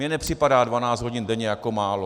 Mně nepřipadá 12 hodin denně jako málo.